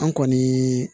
An kɔni